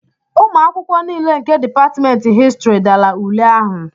ụmụ akwụkwọ niile nke Dipatmentị Histrị dara ule ahụ